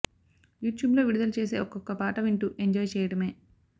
you ట్యూబ్లో విడుదల చేసే ఒకొక్క పాట వింటూ ఎంజాయ్ చేయడమే